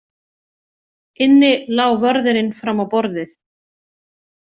Inni lá vörðurinn fram á borðið.